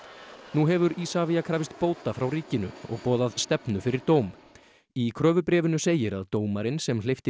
nú hefur Isavia krafist bóta frá ríkinu og boðað stefnu fyrir dóm í kröfubréfinu segir að dómarinn sem hleypti